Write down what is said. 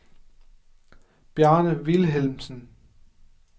Bjarne Vilhelmsen